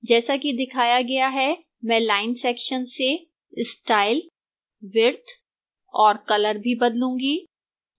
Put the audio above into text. जैसा कि दिखाया गया है मैं line section से style width और color भी बदलूंगी